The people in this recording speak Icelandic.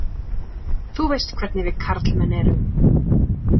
Þú veist hvernig við karlmenn erum.